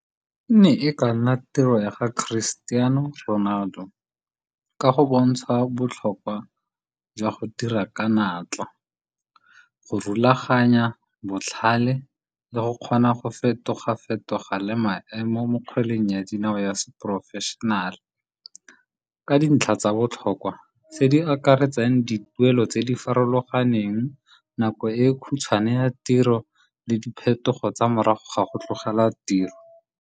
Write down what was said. E ne e ka nna tiro ya ga Christiano Ronaldo, ka go bontsha botlhokwa jwa go dira ka natla, go rulaganya, botlhale le go kgona go fetoga fetoga le maemo mo kgweleng ya dinao ya seporofešenale. Ka dintlha tsa botlhokwa, tse di akaretsang dituelo tse di farologaneng, nako e khutshwane ya tiro le diphetogo tsa morago ga go tlogela tiro.